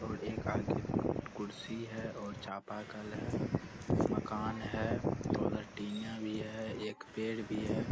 और एक आगे कुर्सी है और चापाकल है मकान है और उधर टीना भी है एक पेड़ भी है --